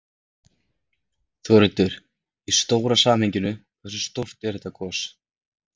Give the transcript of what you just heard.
Þórhildur: Í stóra samhenginu, hversu stórt er þetta gos?